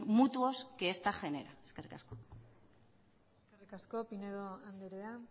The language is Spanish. mutuos que esta genera eskerrik asko eskerrik asko pinedo andrea